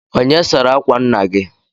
Onye sara akwa nna gị?